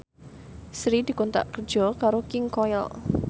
Sri dikontrak kerja karo King Koil